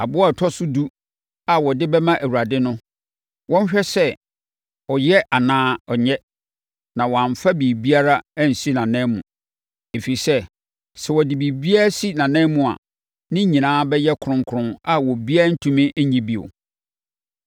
Aboa a ɔtɔ so edu a wɔde bɛma Awurade no, wɔnhwɛ sɛ ɔyɛ anaa ɔnyɛ, na wɔmmfa biribiara nsi nʼananmu, ɛfiri sɛ, sɛ wɔde biribiara si ananmu a, ne nyinaa bɛyɛ kronkron, a obiara rentumi nnye bio.’ ”